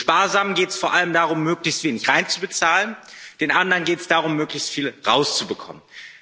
Den Sparsamen geht es vor allem darum, möglichst wenig hineinzubezahlen, den anderen geht es darum, möglichst viel herauszubekommen.